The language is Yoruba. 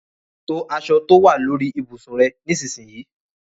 To aṣọ tó wà lórí ibùsùn rẹ nísinsìnyí.